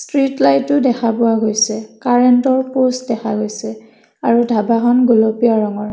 Street লাইটো দেখা পোৱা গৈছে কাৰেণ্টৰ প'ষ্ট দেখা গৈছে আৰু ধাবাখন গুলপীয়া ৰঙাৰ।